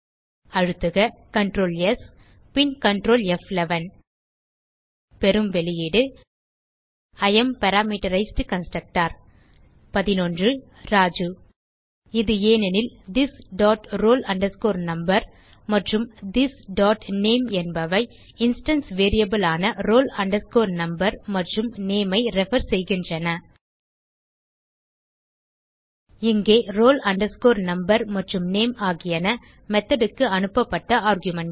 அழுத்துக ctrl S பின் Ctrl ப்11 பெறும் வெளியீடு இ ஏஎம் பாராமீட்டரைஸ்ட் கன்ஸ்ட்ரக்டர் ராஜு இது ஏனெனில் திஸ் டாட் roll number மற்றும் திஸ் டாட் நேம் என்பன இன்ஸ்டான்ஸ் வேரியபிள்ஸ் ஆன roll number மற்றும் நேம் ஐ ரெஃபர் செய்கின்றன இங்கே roll number மற்றும் நேம் ஆகியன மெத்தோட் க்கு அனுப்பப்பட்ட ஆர்குமென்ட்ஸ்